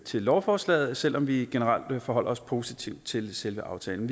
til lovforslaget selv om vi generelt forholder os positivt til selve aftalen